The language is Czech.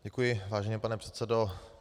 Děkuji, vážený pane předsedo.